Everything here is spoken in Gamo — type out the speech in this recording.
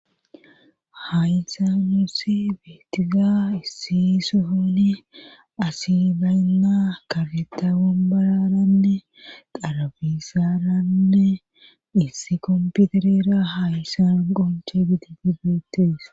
haysanusi beetiza issi sohoni asi baynna kafeta bombararanne qarabisaaranne issi kompiterera hayssan qonche gidi bibeetees